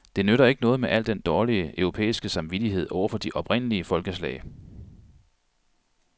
Det nytter ikke noget med al den dårlige europæiske samvittighed overfor de oprindelige folkeslag.